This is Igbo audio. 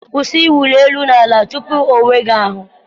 Kwụsị ịwụli elu na ala tupu ị onwe gị ahụ.